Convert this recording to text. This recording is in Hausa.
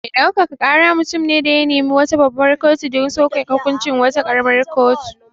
Me ɗaukaka kara mutum ne da ya nemi wata babbar kotu don soke hukuncin wata ƙaramar kotu.